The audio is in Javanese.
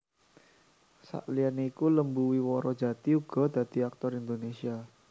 Saliyané iku Lembu Wiworo Jati uga dadi aktor Indonésia